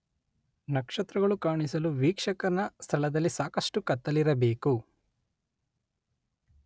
ನಕ್ಷತ್ರಗಳು ಕಾಣಿಸಲು ವೀಕ್ಷಕನ ಸ್ಥಳದಲ್ಲಿ ಸಾಕಷ್ಟು ಕತ್ತಲಿರಬೇಕು.